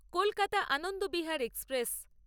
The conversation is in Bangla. কলকাতা আনন্দবিহার এক্সপ্রেস